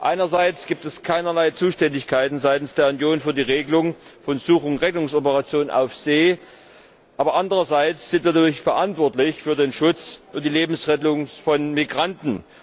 Einerseits gibt es keinerlei Zuständigkeiten seitens der Union für die Regelung von Such und Rettungsoperationen auf See, aber andererseits sind wir natürlich verantwortlich für den Schutz und die Lebensrettung von Migranten.